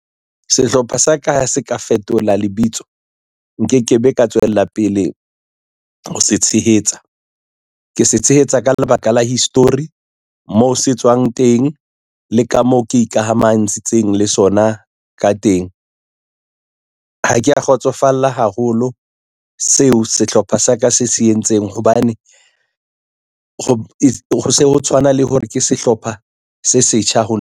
Sehlopha sa ka ha se ka fetola lebitso nke ke be ka tswella pele ho se tshehetsa. Ke se tshehetsa ka lebaka la history moo se tswang teng le ka moo ke ikamahantshintseng le sona ka teng. Ha ke ya kgotsofalla haholo seo sehlopha sa ka se se entseng hobane ho tshwana le hore ke sehlopha se setjha ho nna.